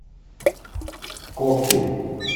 когти